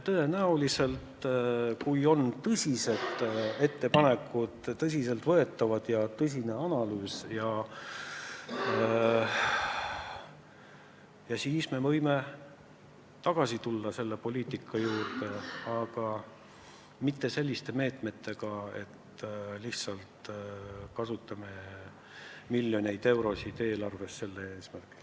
Ja kui on tõsiselt võetavad ettepanekud ja tõsine analüüs, siis me tõenäoliselt võime selle poliitika juurde tagasi tulla, aga mitte rakendades meetmeid, et lihtsalt kasutame miljoneid eurosid eelarvest sellel eesmärgil.